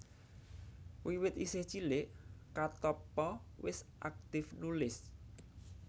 Wiwit isih cilik Katoppo wis aktif nulis